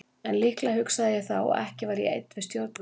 En líklega hugsaði ég þá að ekki væri ég einn við stjórnvölinn.